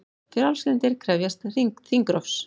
Frjálslyndir krefjast þingrofs